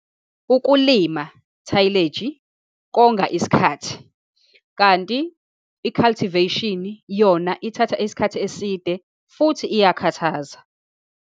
Ukulima, tillage, konga isikhathi, kanti i-cultivation yona ithatha isikhathi eside, futhi iyakhathaza.